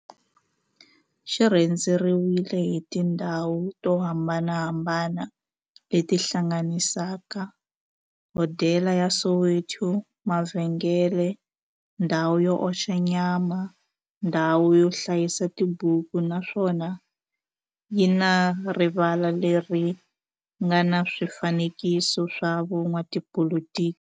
xi rhendzeriwile hi tindhawu to hambanahambana le ti hlanganisaka, hodela ya Soweto, mavhengele, ndhawu yo oxa nyama, ndhawu yo hlayisa tibuku, naswona yi na rivala le ri nga na swifanekiso swa vo n'watipolitiki.